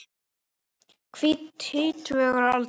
Tvítug að aldri.